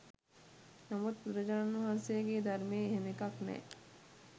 නමුත් බුදුරජාණන් වහන්සේගේ ධර්මයේ එහෙම එකක් නෑ.